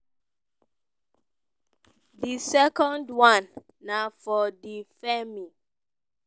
di second one na for di feem